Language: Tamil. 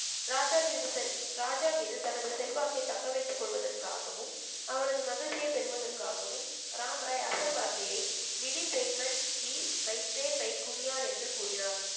ராஜா மீது செல்~ ராஜா மீது தனது செல்வாக்கை தக்க வைத்துக் கொள்வதற்காகவும் அவரது மகிழ்ச்சியைப் பெறுவதற்காகவும் ராம்ராய் அசல் வார்த்தையை என்று கூறினார்